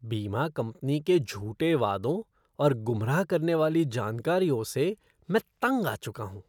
बीमा कंपनी के झूठे वादों और गुमराह करने वाली जानकारियों से मैं तंग आ चुका हूँ।